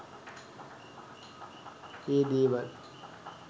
ඒ දේවල්